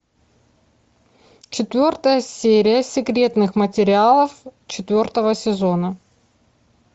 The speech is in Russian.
четвертая серия секретных материалов четвертого сезона